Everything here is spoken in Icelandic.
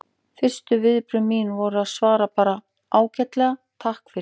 Fyrstu viðbrögð mín voru að svara bara: Ágætlega, takk fyrir